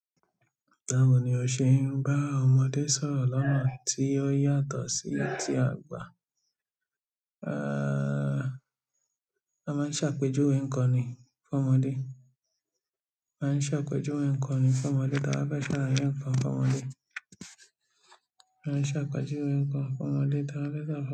Báwo ni o ṣe ń bá ọmọdé sọ̀rọ̀ lọ́nà tí ó yàtọ̀ sí ti àgbà? A máa ń ṣàpèjúwe ǹkan ni fún ọmọdé. A máa ń ṣàpèjúwe ǹkan ni fún ọmọdé táa bá fẹ́ ṣàlàye ǹkan fún ọmọdé. A máa ń ṣàpèjúwe ǹkan fún ọmọdé táa bá fẹ́ ṣàlàye.